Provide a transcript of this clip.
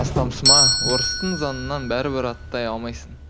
астамсыма орыстың заңынан бәрібір аттай алмайсың